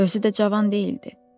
Özü də cavan deyildi.